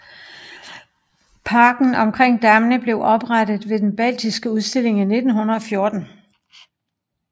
Parken omkring dammene blev oprettet ved Den baltiske Udstilling i 1914